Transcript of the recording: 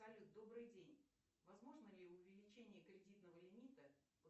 салют добрый день возможно ли увеличение кредитного лимита